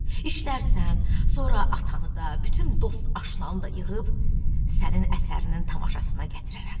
İşlərsən, sonra atanı da, bütün dost-aşnanı da yığıb sənin əsərinin tamaşasına gətirərəm.